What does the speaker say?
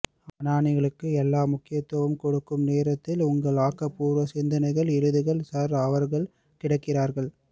அனானிகளுக்கு எல்லாம் முக்கியத்துவம் கொடுக்கும் நேரத்தில் உங்களின் ஆக்க பூர்வ சிந்தனைகள் எழுதுங்கள் சார் அவர்கள் கிடக்கிறார்கள்